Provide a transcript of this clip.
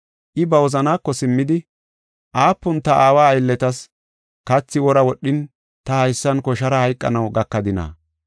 I ba wozanaako simmidi, ‘Aapun ta aawa aylletas kathi wora wodhin ta haysan koshara hayqanaw gakadina?’